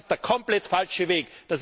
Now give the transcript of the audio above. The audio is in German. Das ist der komplett falsche Weg.